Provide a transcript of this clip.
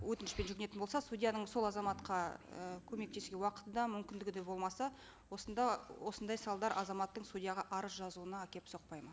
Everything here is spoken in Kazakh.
өтінішпен жүгінетін болса судьяның сол азаматқа і көмектесуге уақыты да мүмкіндігі де болмаса осында осындай салдар азаматтың судьяға арыз жазуына әкеліп соқпайды ма